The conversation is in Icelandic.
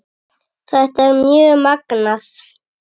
Þetta er mjög magnað.